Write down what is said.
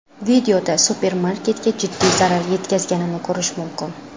Videoda supermarketga jiddiy zarar yetganini ko‘rish mumkin.